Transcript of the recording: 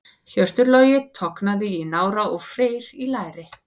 Hjörtur Logi tognaði í nára og Freyr í læri.